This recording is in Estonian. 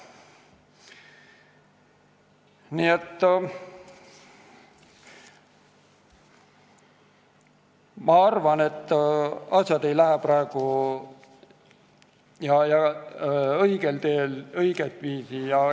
Nii et ma arvan, et asjad ei lähe praegu õiget viisi.